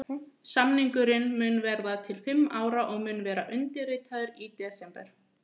Samningurinn mun vera til fimm ára og mun verða undirritaður í desember.